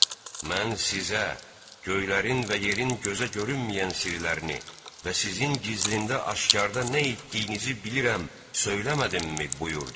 mən sizə göylərin və yerin gözə görünməyən sirlərini və sizin gizlində aşkara nə etdiyinizi bilirəm, söyləmədimmi buyurdu.